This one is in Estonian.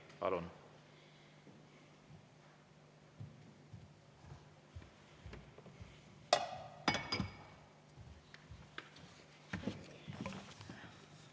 Palun!